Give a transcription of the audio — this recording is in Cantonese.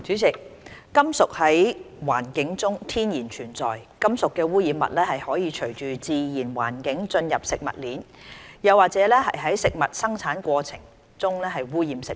主席，金屬在環境中天然存在，金屬污染物可循自然環境進入食物鏈，又或在食物生產過程中污染食物。